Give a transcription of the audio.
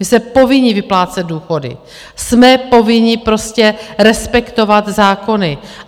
My jsme povinni vyplácet důchody, jsme povinni prostě respektovat zákony.